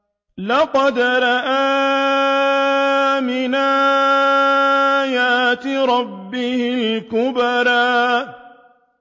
لَقَدْ رَأَىٰ مِنْ آيَاتِ رَبِّهِ الْكُبْرَىٰ